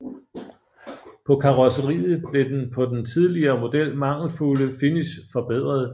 På karrosseriet blev den på den tidligere model mangelfulde finish forbedret